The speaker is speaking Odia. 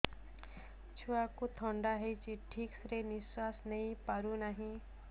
ଛୁଆକୁ ଥଣ୍ଡା ହେଇଛି ଠିକ ସେ ନିଶ୍ୱାସ ନେଇ ପାରୁ ନାହିଁ